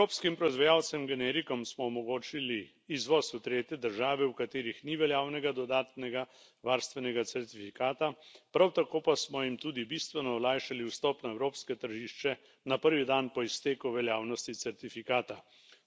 Evropskim proizvajalcem generikov smo omogočili izvoz v tretje države, v katerih ni veljavnega dodatnega varstvenega certifikata, prav tako pa smo jim tudi bistveno olajšali vstop na evropsko tržišče na prvi dan po izteku veljavnosti certifikata.